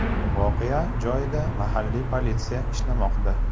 Voqea joyida mahalliy politsiya ishlamoqda.